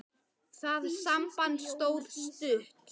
Það samband stóð stutt.